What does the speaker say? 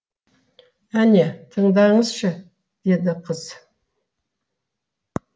әне тыңдаңызшы деді қыз